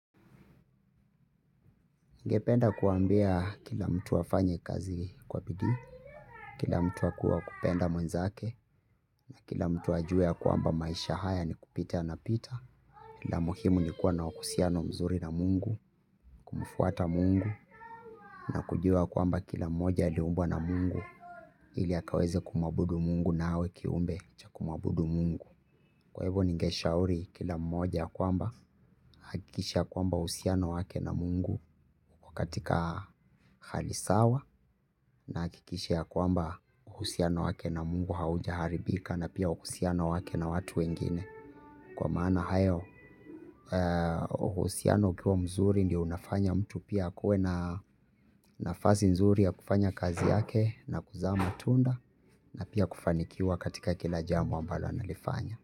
Ningependa kuambia kila mtu afanye kazi kwa bidii, kila mtu akuwe wa kupenda mwenzake, na kila mtu ajua ya kwamba maisha haya ni kupita na pita, la muhimu ni kuwa na uhusiano mzuri na Mungu, kumfuata Mungu, na kujua kwamba kila mmoja aliumbwa na Mungu, ili akaweze kumwabudu Mungu na awe kiumbe cha kumwabudu Mungu. Kwa hivyo ningeshauri kila mmoja ya kwamba ahakikishe kwamba uhusiano wake na Mungu uko katika hali sawa na ahakikishe kwamba uhusiano wake na Mungu haujaharibika na uhusiano wake na watu wengine. Kwa maana hayo uhusiano ukiwa mzuri ndio unafanya mtu pia akuwe na nafasi nzuri ya kufanya kazi yake na kuzaa matunda na pia kufanikiwa katika kila jambo ambalo analifanya.